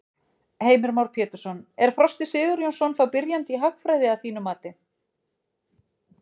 Heimir Már Pétursson: Er Frosti Sigurjónsson þá byrjandi í hagfræði að þínu mati?